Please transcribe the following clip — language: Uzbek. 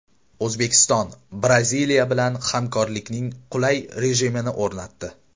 O‘zbekiston Braziliya bilan hamkorlikning qulay rejimini o‘rnatdi .